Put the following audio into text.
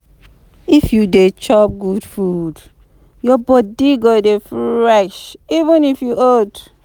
If you dey chop good food, your body go dey fresh even if you old